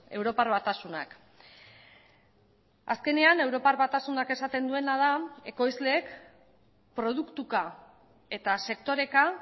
europar batasunak azkenean europar batasunak esaten duena da ekoizleek produktuka eta sektoreka